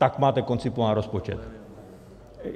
Tak máte koncipován rozpočet.